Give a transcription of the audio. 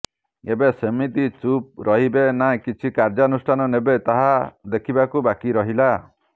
ଏବେ ସେମିତି ଚୁପ୍ ରହିବେ ନା କିଛି କାର୍ଯ୍ୟାନୁଷ୍ଠାନ ନେବେ ତାହା ଦେଖିବାକୁ ବାକି ରହିଲା